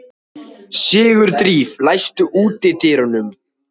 Sigurdríf, læstu útidyrunum.